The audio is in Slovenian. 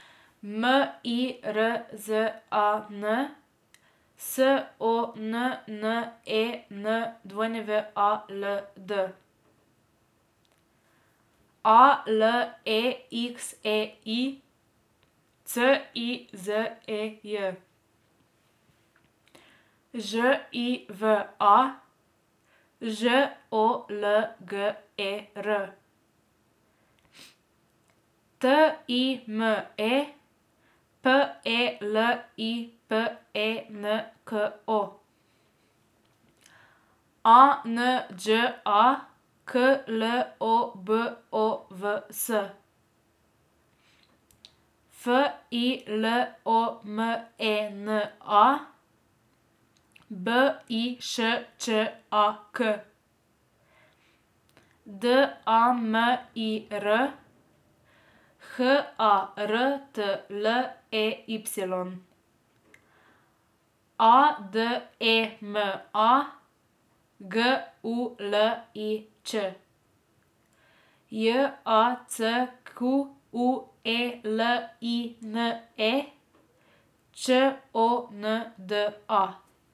M I R Z A N, S O N N E N W A L D; A L E X E I, C I Z E J; Ž I V A, Ž O L G E R; T I M E, P E L I P E N K O; A N Đ A, K L O B O V S; F I L O M E N A, B I Š Č A K; D A M I R, H A R T L E Y; A D E M A, G U L I Ć; J A C Q U E L I N E, Č O N D A.